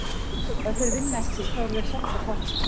Og ef þeir vinna ekki, þá eru þeir samt á toppnum.